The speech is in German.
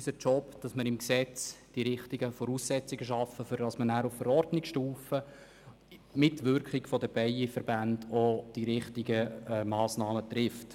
Unsere Aufgabe ist es, im Gesetz die richtigen Voraussetzungen zu schaffen, damit man nachher auf Verordnungsstufe unter Mitwirkung der Bienenzuchtverbände die richtigen Massnahmen trifft.